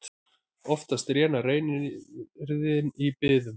Oftast rénar reiðin í biðum.